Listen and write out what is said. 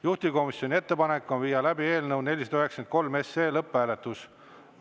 Juhtivkomisjoni ettepanek on viia läbi eelnõu 493 lõpphääletus.